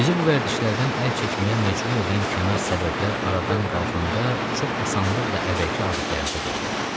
Bizi bu vərdişlərdən əl çəkməyə məcbur edən kənar səbəblər aradan qalxanda çox asanlıqla əvvəlki adətlərimizə qayıdırıq.